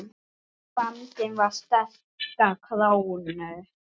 Vandinn við sterka krónu